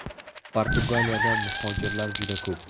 Portugaliyada muhojirlar juda ko‘p.